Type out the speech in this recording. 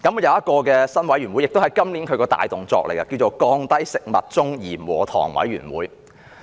有一個新委員會，是局方今年的工作重點，叫"降低食物中鹽和糖委員會"。